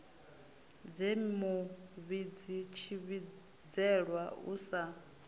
dze muvhidzi tshivhidzelwa u sa